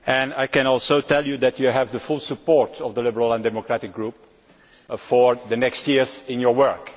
I can tell you that you have the full support of the Liberal and Democratic Group for the forthcoming years in your work.